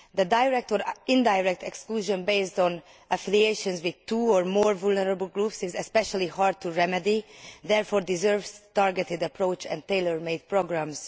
Direct or indirect exclusion based on affiliation with two or more vulnerable groups is especially hard to remedy, and it therefore deserves a targeted approach and tailor made programmes.